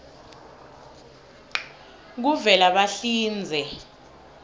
kuvelabahlinze